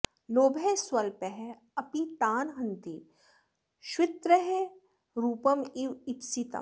लोभः स्वल्पः अपि तान् हन्ति श्वित्रः रूपम् इव इप्सितम्